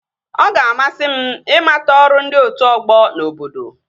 Ọ ga-amasị m ịmata ọrụ ndị otu ọgbọ n'obodo